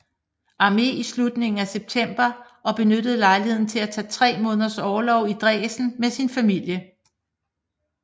Armé i slutningen af september og benyttede lejligheden til at tage tre måneders orlov i Dresden med sin familie